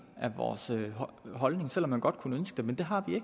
af vores beholdning selv om man godt kunne ønske det men det har vi